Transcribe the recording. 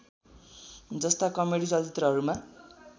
जस्ता कमेडी चलचित्रहरूमा